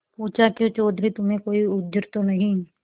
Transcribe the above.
पूछाक्यों चौधरी तुम्हें कोई उज्र तो नहीं